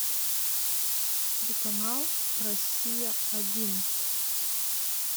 телеканал россия один